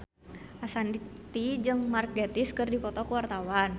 Ashanti jeung Mark Gatiss keur dipoto ku wartawan